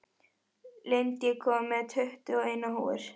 Lind, ég kom með tuttugu og eina húfur!